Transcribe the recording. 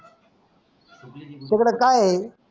तिकड काय आहे.